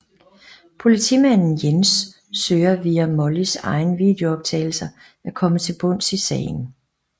Politimanden Jens søger via Mollys egne videooptagelser at komme til bunds i sagen